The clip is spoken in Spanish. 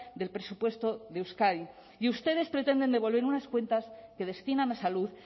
del presupuesto de euskadi y ustedes pretenden devolver unas cuentas que destinan a salud